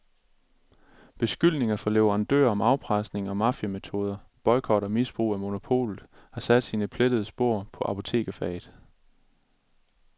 Beskyldninger fra leverandører om afpresning og mafiametoder, boykot og misbrug af monopolet har sat sine plettede spor på apotekerfaget.